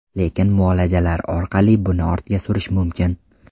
Lekin muolajalar orqali buni ortga surish mumkin.